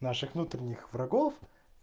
наших внутренних врагов